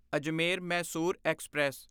Ajmer Mysore express